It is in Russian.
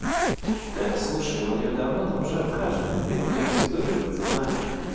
да слушай он её давно там уже обхаживает блядь мы эту историю просто знаю